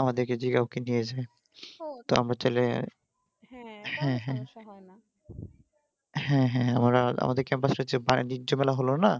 আমাদেরকে যে হ্যাঁ হ্যাঁ আমরা আমাদের বাইরে কোনো ঝুটঝামেলা হলো না